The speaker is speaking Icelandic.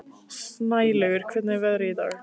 Snælaugur, hvernig er veðrið í dag?